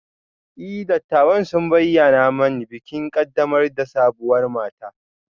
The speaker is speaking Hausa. E, dattawan sun bayyana mani bikin ƙaddamar da sabuwar mata